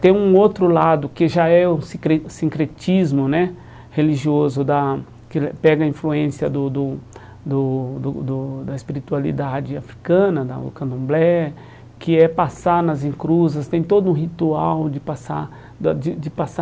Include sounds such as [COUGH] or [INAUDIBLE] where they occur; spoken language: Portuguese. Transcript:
Tem um outro lado que já é o sincre sincretismo né religioso da, [UNINTELLIGIBLE] que ele pega a influência do do do do do do da espiritualidade africana, da o candomblé, que é passar nas encruzas, tem todo um ritual de passar da de de passar